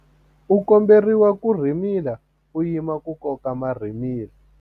U komberiwa ku rhimila u yima ku koka marhimila.